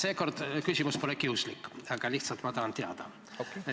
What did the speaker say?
Seekord pole mu küsimus kiuslik, ma lihtsalt tahan teada.